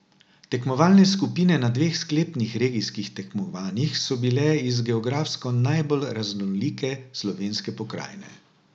Tekmovalne skupine na dveh sklepnih regijskih tekmovanjih so bile iz geografsko najbolj raznolike slovenske pokrajine.